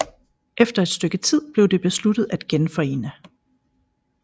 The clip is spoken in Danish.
Efter et stykke tid blev det besluttet at genforene